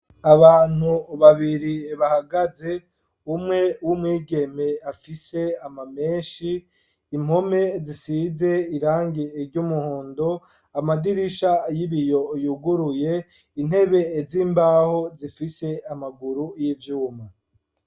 Abantu babiri, bahagaze, umwe w'umwigeme, afise amamenshi; impome zisize, irangi ry'umuhondo, amadirisha y'ibiyo, yuguruye; intebe z'imbaho, zifise amaguru y'ivyuma.